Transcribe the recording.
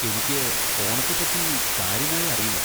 എനിക്ക് ഓണത്തെ പറ്റി കാര്യമായി അറിയില്ല.